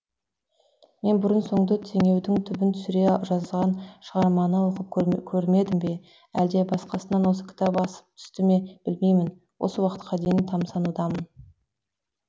мен бұрын соңды теңеудің түбін түсере жазған шығарманы оқып көрмедім бе әлде басқасынан осы кітап асып түстіме білмеймін осы уақытқа дейін тамсанудамын